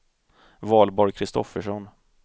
Valborg Kristoffersson